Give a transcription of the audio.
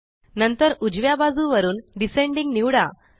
नंतर उजव्या बाजुवरून डिसेंडिंग निवडा